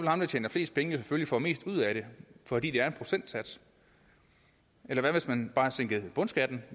ham der tjener flest penge selvfølgelig få mest ud af det fordi det er en procentsats eller hvad hvis man bare sænkede bundskatten